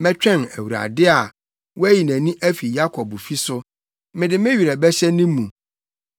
Mɛtwɛn Awurade a wayi nʼani afi Yakobfi so mede me werɛ bɛhyɛ ne mu.